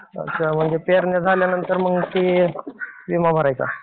अच्छा. म्हणजे पेरण्या झाल्यानंतर मग ते विमा भरायचा.